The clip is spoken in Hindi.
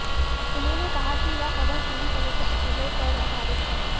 उन्होंने कहा कि यह खबर पूरी तरह से अटलों पर आधारित है